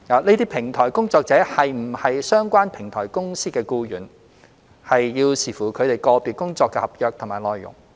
這些平台工作者是否為相關平台公司的僱員，需視乎他們個別工作的合約內容。